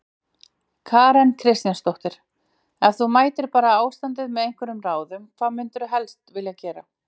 Karen Kjartansdóttir: Ef þú mættir bæta ástandið með einhverjum ráðum, hvað myndirðu helst vilja gera?